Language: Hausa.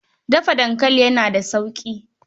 Dafa dankali ba yana da sauƙi.